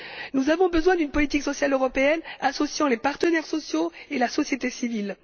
Nous avons besoin d'une politique européenne associant les partenaires sociaux et la société civile.